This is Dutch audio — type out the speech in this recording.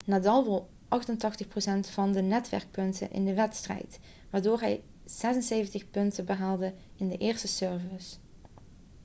nadal won 88% van de netpunten in de wedstrijd waardoor hij 76 punten behaalde in de eerste service